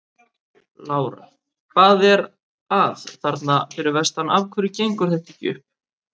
Lára: Hvað er að þarna fyrir vestan, af hverju gengur þetta ekki upp?